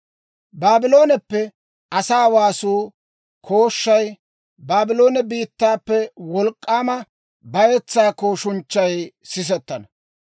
«Baablooneppe asaa waasuwaa kooshshay, Baabloone biittaappe wolk'k'aama bayetsaa kooshunchchay sisettana!